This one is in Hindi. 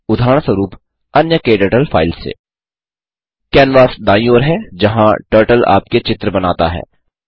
उदाहरणस्वरूप अन्य क्टर्टल फ़ाइल्स से कैनवास दाईँ ओर है जहाँ टर्टल आपके चित्र बनाता है